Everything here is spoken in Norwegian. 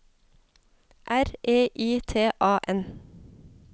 R E I T A N